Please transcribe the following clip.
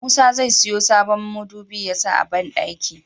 Musa zai siyo sabon midubi yasa a banɗaki